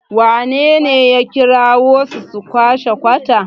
wanene ya kirawo su, su kwashe kwata?